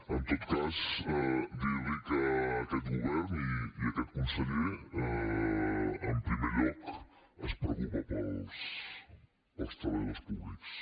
en tot cas dir li que aquest govern i aquest conseller en primer lloc es preocupa pels treballadors públics